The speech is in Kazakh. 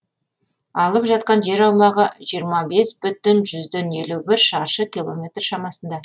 алып жатқан жер аумағы жиырма бес бүтін жүзден елу бір шаршы километр шамасында